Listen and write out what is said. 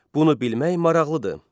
Bunu bilmək maraqlıdır.